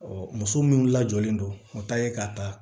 muso min lajɔlen don o ta ye k'a ta